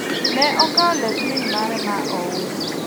ne okawo lep min mare ma ouso